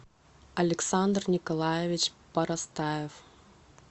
александр николаевич парастаев